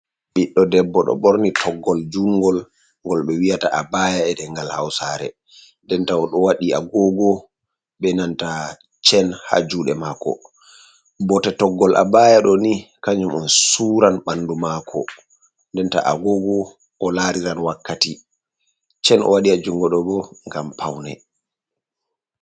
Ɓiɗdo debbo ɗo ɓorni toggol jungol, ngol ɓe wiyata abaya e ɗengal hausare, dendenta oɗo waɗi agogo be nanta chen ha juuɗe maako. Bote toggol abaya ɗo ni kajum on suran ɓandu maako, dendenta agogo o lariran wakkati chen o waɗi ha jungo ɗo bo ngam paune.